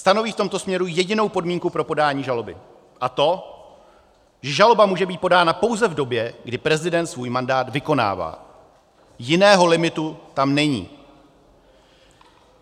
Stanoví v tomto směru jedinou podmínku pro podání žaloby, a to, že žaloba může být podána pouze v době, kdy prezident svůj mandát vykonává, jiného limitu tam není.